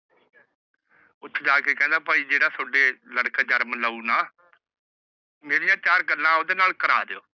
ਉੱਥੇ ਜਾ ਕੇ ਕਹਿੰਦਾ ਭਾਈ ਜਿਹੜਾ ਤੁਹਾਡੇ ਲੜਕਾ ਜਨਮ ਲਉ ਨਾ। ਮੇਰੀਆਂ ਚਾਰ ਗੱਲਾਂ ਓਂਦੇ ਨਾਲ ਕਰਾ ਦੀਓ।